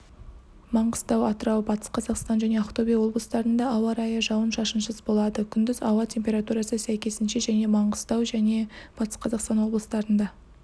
маңғыстау атырау батыс қазақстан және ақтөбе облыстарында ауа райы жауын-шашынсыз болады күндіз ауа температурасы сәйкесінше және маңғыстау және батыс қазақстан облыстарында